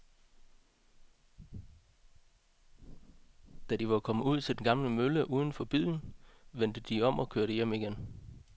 Da de var kommet ud til den gamle mølle uden for byen, vendte de om og kørte hjem igen.